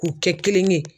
K'u kɛ kelen ye